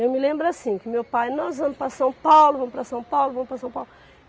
Eu me lembro assim, que meu pai, nós vamos para São Paulo, vamos para São Paulo, vamos para São Paulo.